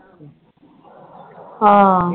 ਹਾਂ।